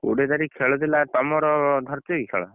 କୋଡିଏ ତାରିଖ ଖେଳ ଥିଲା ତମର ଧରିଛି କି ଖେଳ?